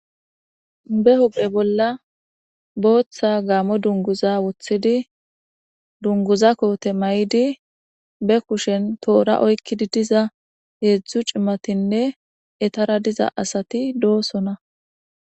Be hu'e bolla booththa gaamo dunguza wothidi dunguza koote may7idi be kushen toora oykkidi diza heedzdzu cimatinne etara diza asati doosona.